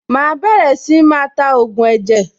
Màá bẹ̀rẹ̀ sí máa ta ògùn ẹ̀jẹ̀.